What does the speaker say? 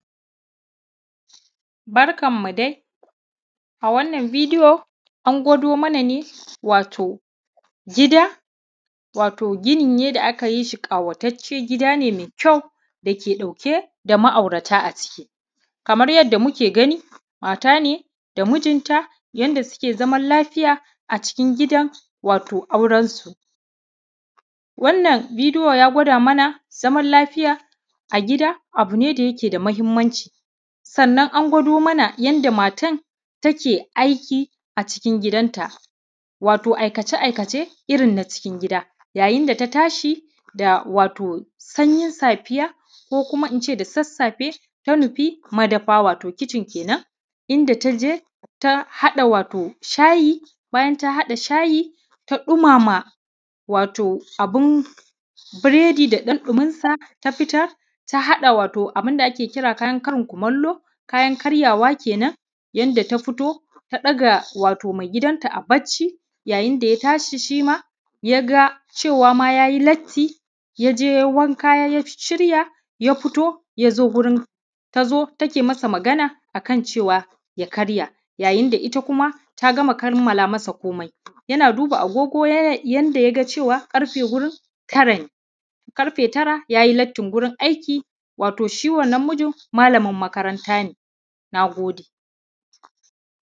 Barkanmu dai, a wannan bidiyo an gwado mana ne wato gida, wato gini ne da aka yi shi ƙawataccen gida ne mai kyau dake ɗauke da ma’aurata aciki. Kamar yadda muke gani maata ne da mijinta yanda suke zaman lafiya acikin gidan wato auransu. Wannan bidiyo ya gwada mana zaman lafiya a gida abu da yake da mahimmanʧi, sannan an gwado mana yadda maatan take aiki acikin gidanta wato aikace-aikace irin na cikin gida, yayin da ta tashi da wato da sanyin safiya ko kuma ince da sassafe ta nufi madafa wato kitchen kenan inda ta je ta haɗa shayi bayan ta haɗa shayi ta ɗumama abin bureda da ɗan ɗuminsa ta fitar ta haɗa wato abin da ake kira karin kumallo kayan karyawa kenan, yanda ta fito ta ɗaga wato maigidanta a bacci yayin da ya tashi shima ya ga cewa ma ya yi latti ya jeyayi wanka ya shirya ya fito ya zo wurin ta zo take masa magana akan cewa ya karya yayin da ita kuma ta gama kammala masa koomai yana dubaa agogo yanda ya ga cewa ƙarfe wurin tara ne, ƙarfe tara yayi lattin wurin aiki wato shi wannan mijin malamin makaranta ne, naagode